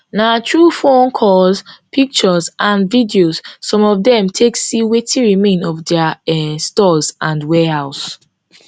na through phone calls pictures and videos some of dem take see wetin remain of dia um stores and warehouse